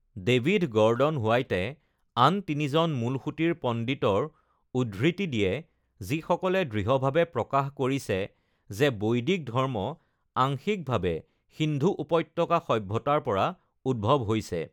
David Gordon হোৱাইটে আন তিনিজন মূলসুঁতিৰ পণ্ডিতৰ উদ্ধৃতি দিয়ে, যিসকলে দৃঢ়ভাৱে প্ৰকাশ কৰিছে যে বৈদিক ধৰ্ম আংশিকভাৱে সিন্ধু উপত্যকা সভ্যতাৰ পৰা উদ্ভৱ হৈছে।